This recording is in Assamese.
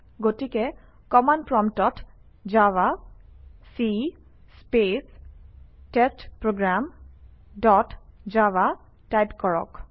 গতিকে কমাণ্ড প্ৰম্পটত জাভাক space test program dot java type কৰক